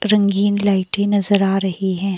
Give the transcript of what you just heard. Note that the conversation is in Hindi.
रंगीन लाइटें नजर आ रही है।